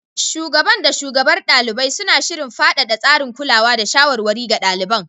Shugaban da shugabar ɗalibai, suna shirin faɗaɗa tsarin kulawa da shawarwari ga ɗaliban.